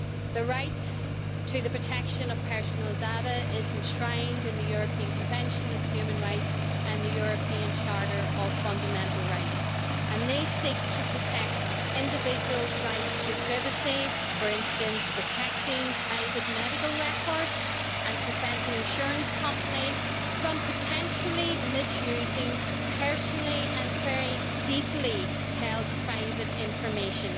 The right to the protection of personal data is enshrined in the European Convention of Human Rights and the European Charter of Fundamental Rights, and they seek to protect the individual's right to privacy, for instance protecting private medical records and preventing insurance companies from potentially misusing personally and very deeply held private information.